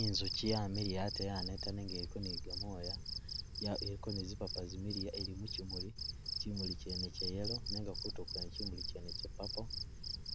I'nzuchi yamiliya ate yaneta nenga eliko ni gamooya ya iliko ni zipapa zimiliya ili muchimuli, chimuli chene cha yellow nenga kutuulo kwene chimuli chene cha'purple